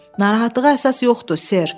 Narahatlığa əsas yoxdur, Ser.